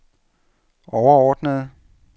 overordnede